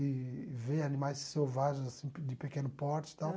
E ver animais selvagens, assim, pe de pequeno porte e tal.